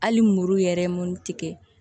Hali muru yɛrɛ ye mun tigɛ